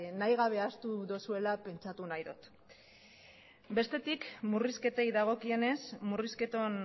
nahi gabe ahaztu duzuela pentsatu nahi dut bestetik murrizketei dagokienez murrizketon